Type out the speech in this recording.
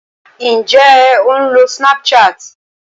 Ǹjé o ń lo Snapchat?